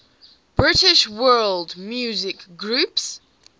british world music groups